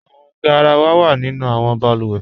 Awọn gáràwà wa nínu awọn bàlúwẹ́.